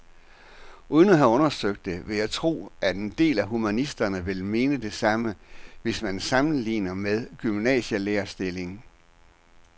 Uden at have undersøgt det vil jeg tro, at en del humanister vil mene det samme, hvis man sammenligner med en gymnasielærerstilling.